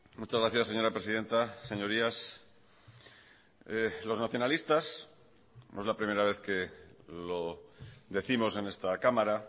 muchas gracias señora presidenta señorías los nacionalistas no es la primera vez que lo décimos en esta cámara